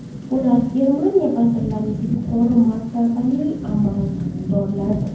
Bular – Germaniya vazirlari va yuqori martabali amaldorlaridir.